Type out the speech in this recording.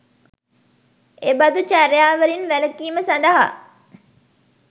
එබඳු චර්යාවලින් වැලකීම සඳහා